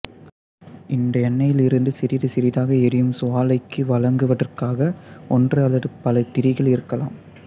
இந்த எண்ணெயிலிருந்து சிறிது சிறிதாக எரியும் சுவாலைக்கு வழங்குவதற்காக ஒன்று அல்லது பல திரிகள் இருக்கலாம்